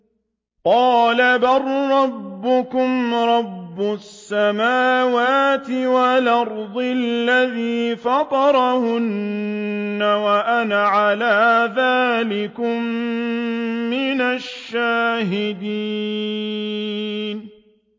قَالَ بَل رَّبُّكُمْ رَبُّ السَّمَاوَاتِ وَالْأَرْضِ الَّذِي فَطَرَهُنَّ وَأَنَا عَلَىٰ ذَٰلِكُم مِّنَ الشَّاهِدِينَ